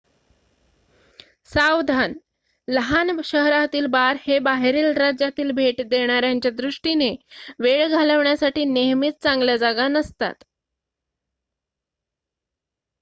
सावधान लहान शहरातील बार हे बाहेरील राज्यातील भेट देणाऱ्यांच्या दृष्टीने वेळ घालवण्यासाठी नेहमीच चांगल्या जागा नसतात